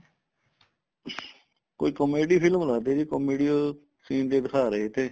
ਕੋਈ comedy film ਲਗਦੀ ਏ ਜੀ comedy scene ਜੇ ਦਿਖਾ ਰਹੇ ਤੇ